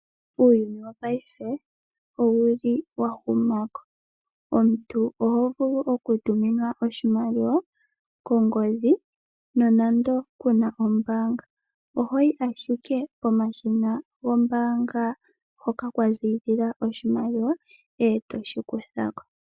Uuyuni wo paife owuli wa huma ko. Omuntu oho vulu okutuminwa oshimaliwa kongodhi nonando kuna ombaanga, ohoyi ashike pomashina gombaanga hoka mwa ziilila oshimaliwa, e to shi kutha ko.